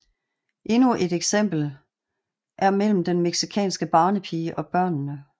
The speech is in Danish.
Endnu et eksempel er mellem den mexikanske barnepige og børnene